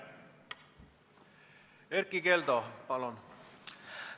Erkki Keldo, palun!